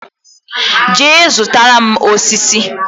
Jee zụtara m osisi!